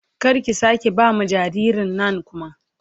Kar ki sake ba ma jaririn nan kuma